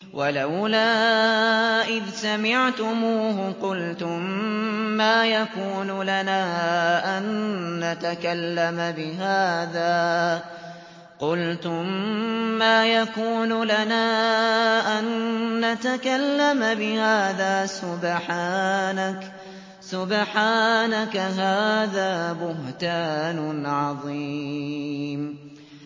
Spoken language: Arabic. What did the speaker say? وَلَوْلَا إِذْ سَمِعْتُمُوهُ قُلْتُم مَّا يَكُونُ لَنَا أَن نَّتَكَلَّمَ بِهَٰذَا سُبْحَانَكَ هَٰذَا بُهْتَانٌ عَظِيمٌ